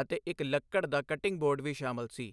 ਅਤੇ ਇੱਕ ਲੱਕੜ ਦਾ ਕਟਿਂਗ ਬੋਰਡ ਵੀ ਸ਼ਾਮਲ ਸੀ।